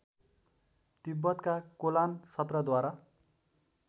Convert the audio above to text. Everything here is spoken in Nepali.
तिब्बतका कोलान सत्रद्वारा